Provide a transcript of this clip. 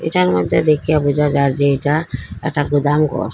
এটার মইদ্যে দেইখ্যা বুঝা যার যে এইটা একটা গুদাম ঘর।